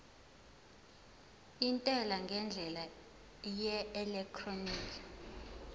intela ngendlela yeelektroniki